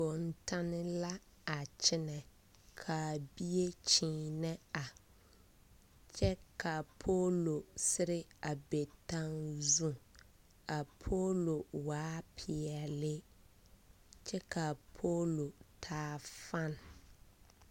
Bontanne la a kyɛnɛ ka a bie kyeenɛ a kyɛ ka a kyɛ ka a poolo sere a be taŋzu a poolo waa peɛle kyɛ ka a poolo taa fan.